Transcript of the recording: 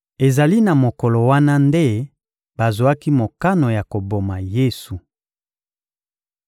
Ezali na mokolo wana nde bazwaki mokano ya koboma Yesu.